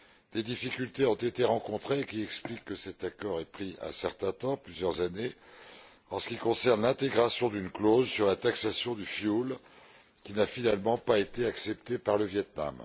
Des difficultés ont été rencontrées, qui expliquent que cet accord ait pris un certain temps plusieurs années. En ce qui concerne l'intégration d'une clause sur la taxation du fioul, celle ci n'a finalement pas été acceptée par le Viêt Nam.